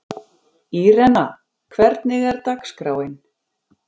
Írena, hvernig er dagskráin?